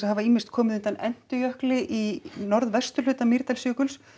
hafa ýmist komið undan í norðvesturhluta Mýrdalsjökuls